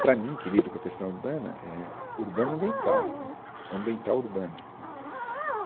para mim, em equilíbrio com a questão urbana, é urbano-ambiental né, ou ambiental-urbana né.